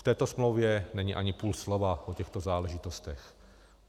V této smlouvě není ani půl slova o těchto záležitostech.